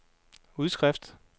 udskrift